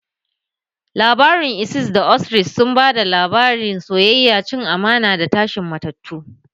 Labarin Isis da Osiris sun ba da labarin soyayya, cin amana, da tashin matattu.